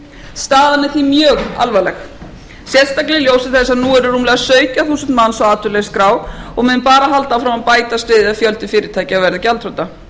staðan er því mjög alvarleg sérstaklega í ljósi þess að nú eru rúmlega sautján þúsund manns á atvinnuleysisskrá og menn bara halda áfram að bætast við ef fjöldi fyrirtækja verður gjaldþrota